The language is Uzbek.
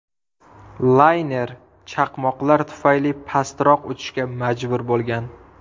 Layner chaqmoqlar tufayli pastroq uchishga majbur bo‘lgan.